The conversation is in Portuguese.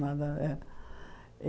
Nada a ver.